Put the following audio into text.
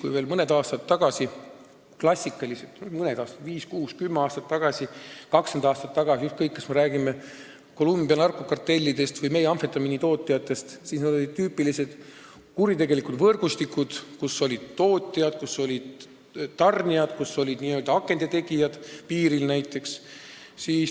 Ükskõik, kas me räägime Colombia narkokartellidest või meie amfetamiinitootjatest, veel mõni aasta tagasi, viis, kuus, kümme või kakskümmend aastat tagasi olid need tüüpilised kuritegelikud võrgustikud, kus olid tootjad, tarnijad ja n-ö akende tegijad piiril näiteks.